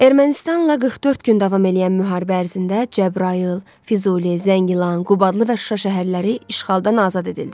Ermənistanla 44 gün davam eləyən müharibə ərzində Cəbrayıl, Füzuli, Zəngilan, Qubadlı və Şuşa şəhərləri işğaldan azad edildi.